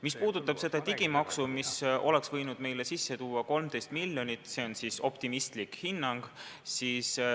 Mis puudutab seda digimaksu, mis oleks võinud meile sisse tuua 13 miljonit, siis see on optimistlik hinnang.